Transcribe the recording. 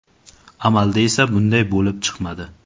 Amalda esa bunday bo‘lib chiqmadi.